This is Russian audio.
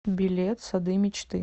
билет сады мечты